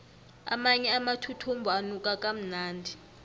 amanye amathuthumbo anuka kamnandi